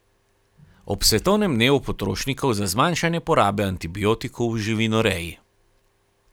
Ob svetovnem dnevu potrošnikov za zmanjšanje porabe antibiotikov v živinoreji.